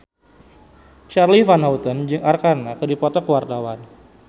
Charly Van Houten jeung Arkarna keur dipoto ku wartawan